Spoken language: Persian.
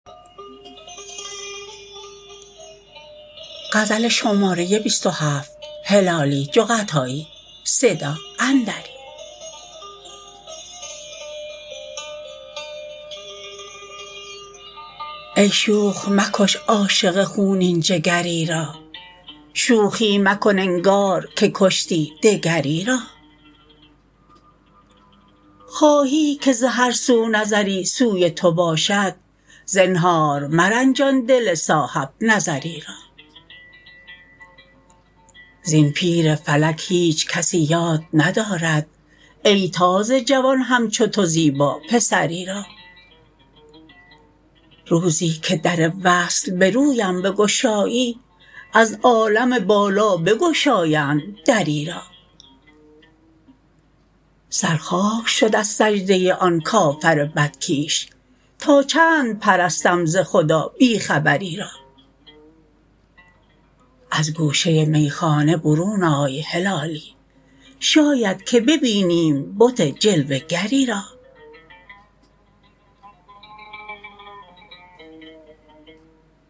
ای شوخ مکش عاشق خونین جگری را شوخی مکن انگار که کشتی دگری را خواهی که ز هر سو نظری سوی تو باشد زنهار مرنجان دل صاحب نظری را زین پیر فلک هیچ کسی یاد ندارد ای تازه جوان همچو تو زیبا پسری را روزی که در وصل برویم بگشایی از عالم بالا بگشایند دری را سر خاک شد از سجده آن کافر بد کیش تا چند پرستم ز خدا بی خبری را از گوشه می خانه برون آی هلالی شاید که ببینیم بت جلوه گری را